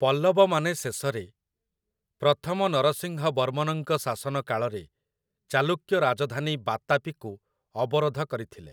ପଲ୍ଲବମାନେ ଶେଷରେ, ପ୍ରଥମ ନରସିଂହ ବର୍ମନଙ୍କ ଶାସନ କାଳରେ, ଚାଲୁକ୍ୟ ରାଜଧାନୀ ବାତାପିକୁ ଅବରୋଧ କରିଥିଲେ ।